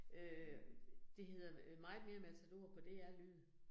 Øh det hedder øh Meget Mere Matador på DR Lyd